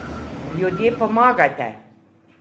Ljudje, pomagajte!